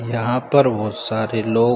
यहाँ पर बहुत सारे लोग --